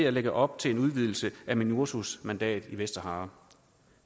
at lægge op til en udvidelse af minursos mandat i vestsahara